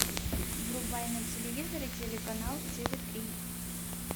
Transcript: врубай на телевизоре телеканал тв три